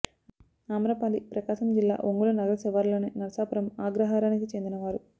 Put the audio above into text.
ఆమ్రపాలి ప్రకాశం జిల్లా ఒంగోలు నగర శివారులోని నరసాపురం ఆగ్రహారానికి చెందినవారు